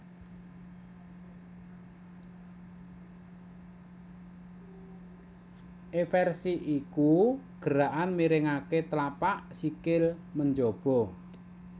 Eversi iku gerakan miringaké tlapak sikil menjaba